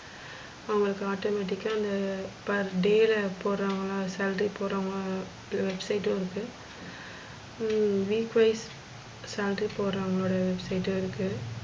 அவங்களுக்கு automatic க்கா அந்த per day ல போடுவங்களா? salary போறவங்கள website இருக்கு ஹம் weekwise salary போறவுங்க website இருக்கு.